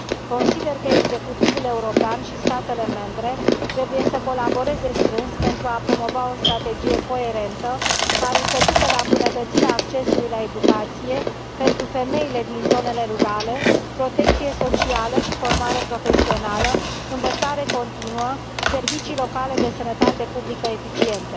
Consider că executivul european și statele membre trebuie să colaboreze strâns pentru a promova o strategie coerentă, care să ducă la îmbunătățirea accesului la educație pentru femeile din zonele rurale, protecție socială și formare profesională, învățare continuă, servicii locale de sănătate publică eficiente.